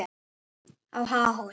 á Háhóli.